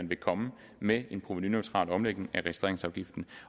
vil komme med en provenuneutral omlægning af registreringsafgiften